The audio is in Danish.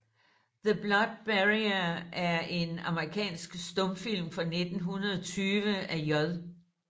The Blood Barrier er en amerikansk stumfilm fra 1920 af J